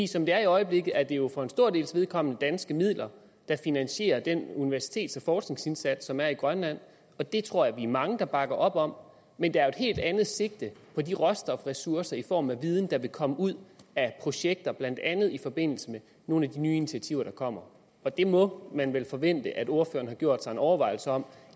som det er i øjeblikket er det jo for en stor dels vedkommende danske midler der finansierer den universitets og forskningsindsats som der er i grønland og det tror jeg vi er mange der bakker op om men der er jo et helt andet sigte på de råstofressourcer i form af viden der vil komme ud af projekter blandt andet i forbindelse med nogle af de nye initiativer der kommer det må man vel forvente at ordføreren har gjort sig en overvejelse om